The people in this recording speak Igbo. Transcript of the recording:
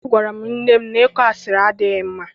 Agwara m nne na ịkọ asịrị adịghị mma.